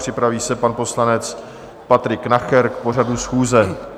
Připraví se pan poslanec Patrik Nacher k pořadu schůze.